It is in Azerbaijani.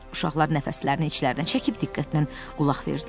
Uşaqlar nəfəslərini içlərinə çəkib diqqətlə qulaq verdilər.